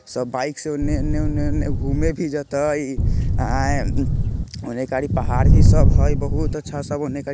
सब बाइक से उन्ने-इन्ने उन्ने-उन्ने घूमे भी जतई आ एम् उन्ने खली पहाड़ ही सब हय बहुत अच्छा सब उन्ने ख --